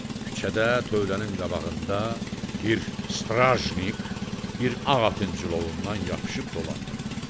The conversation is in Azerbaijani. Küçədə, tövlənin qabağında bir strajnik, bir ağ atın cilovundan yapışıb dolandırırdı.